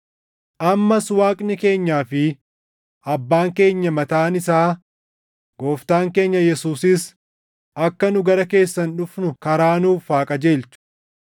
Ammas Waaqni keenyaa fi Abbaan keenya mataan isaa, Gooftaan keenya Yesuusis akka nu gara keessan dhufnu karaa nuuf haa qajeelchu.